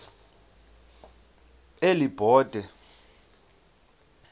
elibode